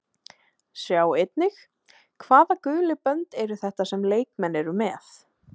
Sjá einnig: Hvaða gulu bönd eru þetta sem leikmenn eru með?